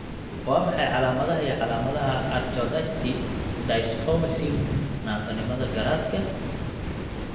Waa maxay calaamadaha iyo calaamadaha Arachnodacty dysmorphism naafanimada garaadka?